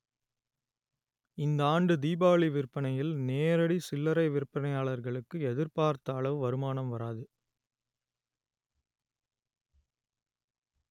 இந்தாண்டு தீபாவளி விற்பனையில் நேரடி சில்லரை விற்பனையாளர்களுக்கு எதிர்பார்த்த அளவு வருமானம் வராது